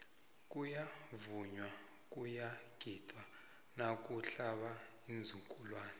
kuyavunywa kuyagidwa nakuhlaba iinzukulwani